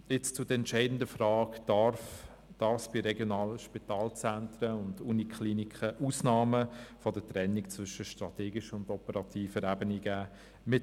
Nun zur entscheidenden Frage: Darf es bei regionalen Spitalzentren und Universitätskliniken Ausnahmen bei der Trennung zwischen strategischer und operativer Ebene geben?